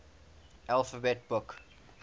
alphabet books